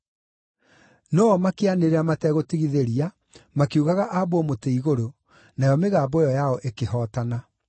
No-o makĩanĩrĩra mategũtigithĩria makiugaga aambwo mũtĩ-igũrũ, nayo mĩgambo ĩyo yao ĩkĩhootana.